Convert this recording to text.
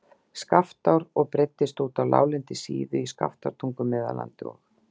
Skaftár og breiddist út á láglendi á Síðu, í Skaftártungu, Meðallandi og